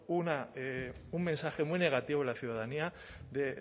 un mensaje muy negativo en la ciudadanía de